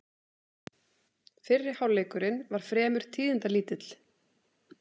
Fyrri hálfleikurinn var fremur tíðindalítill